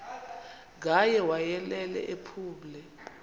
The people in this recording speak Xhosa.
ngaye wayelele ephumle